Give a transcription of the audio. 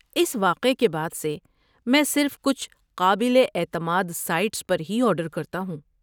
اس واقعے کے بعد سے، میں صرف کچھ قابل اعتماد سائٹس پر ہی آرڈر کرتا ہوں۔